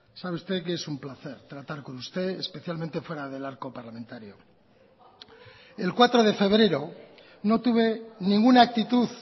sabe usted que es un placer tratar con usted especialmente fuera del arco parlamentario el cuatro de febrero no tuve ninguna actitud